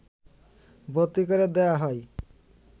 ভর্তি করে দেওয়া হয়